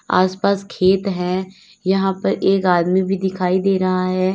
आसपास खेत है यहां पर एक आदमी भी दिखाई दे रहा है।